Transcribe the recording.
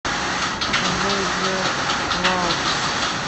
джой зе ваултс